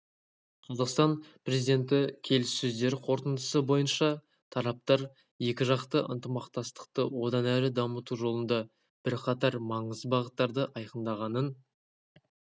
қазақстан президенті келіссөздер қорытындысы бойынша тараптар екіжақты ынтымақтастықты одан әрі дамыту жолында бірқатар маңызды бағыттарды айқындағанын